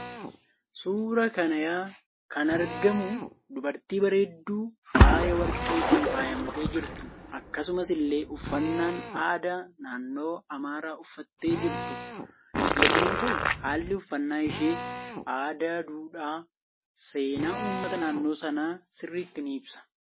Suuraa kanaykan argamu dubartii bareedduu faaya warqeetiin faayamtee jirtu akkasumas illee uffannan aada naannoo amaraa uffattee jirtu yommuu ta'u haallii uffanna ishee aadaa duudhaa seenaa uummata naannoo sana sirritti ni ibsa.